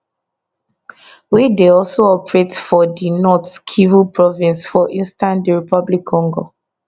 wey dey also operate for di north kivu province for eastern drc